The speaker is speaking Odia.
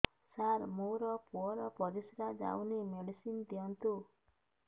ସାର ମୋର ପୁଅର ପରିସ୍ରା ଯାଉନି ମେଡିସିନ ଦିଅନ୍ତୁ